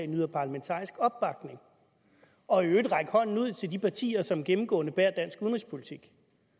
nyder parlamentarisk opbakning og i øvrigt at række hånden ud til de partier som gennemgående bærer dansk udenrigspolitik